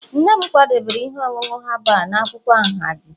nne m kwadebere ihe ọṅụṅụ herbal na akwụkwọ ahunji